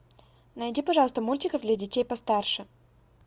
найди пожалуйста мультики для детей постарше